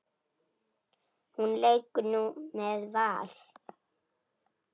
Hún leikur nú með Val.